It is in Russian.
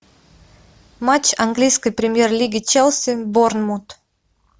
матч английской премьер лиги челси борнмут